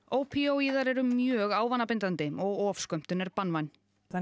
ópíóíðar eru mjög ávanabindandi og ofskömmtun er banvæn